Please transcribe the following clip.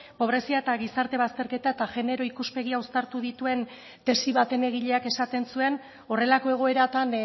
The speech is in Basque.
pobrezia eta gizarte bazterketa eta genero ikuspegia uztartu dituen tesi baten egileak esaten zuen horrelako egoeratan